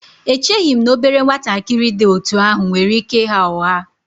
Echeghị m na obere nwatakịrị dị otú ahụ nwere ike ịgha ụgha